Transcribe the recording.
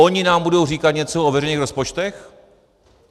Oni nám budou říkat něco o veřejných rozpočtech?